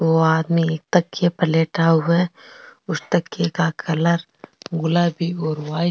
ओ आदमी एक तकिये पर लेटा हुआ है उस तकिये का कलर गुलाबी और व्हाइट --